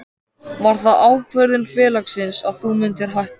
Var það ákvörðun félagsins að þú myndir hætta?